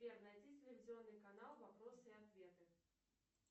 сбер найди телевизионный канал вопросы и ответы